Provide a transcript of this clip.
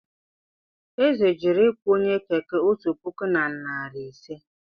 Eze jụrụ ịkwụ onye Keke otu puku na narị ise.